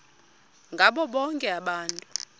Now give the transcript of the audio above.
ngabo bonke abantu